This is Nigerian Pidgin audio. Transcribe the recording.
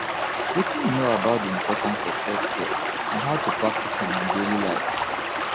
wetin you know about di importance of selfcare and how to practice am in daily life